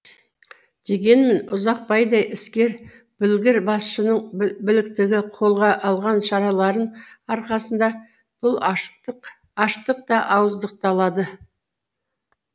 дегенмен ұзақбайдай іскер білгір басшының біліктілігі қолға алған шараларын арқасында бұл аштық та ауыздықталды